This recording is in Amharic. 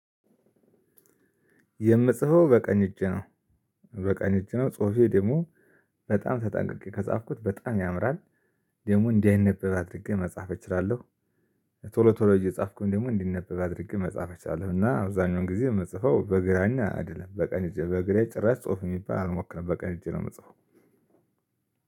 የምጽፈው በቀኝ እጅ ነው። በቀኝ እጅ ነው ጹሁፌ ደግሞ በጣም ተጠንቅቄ ከጻፍኩት በጣም ያምራል። ደግሞ እንዳይነበብ አድርጌ መጻፍ እችላለሁ። ቶሎ ቶሎ እየጻፍኩኝ ደግሞ እንዲነበብ አድርጌ መጻፍ እችላለሁ። እና አብዛኛውን ጊዜ የምጽፈው በግራና አይደለም በቀን በግራዬ ጭራሽ ጽሁፍ የሚባል አልሞክረም በቀን እጅ ነው የምጽፈው።